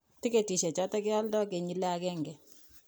Tiketishe choton kioldo kenyile aeng.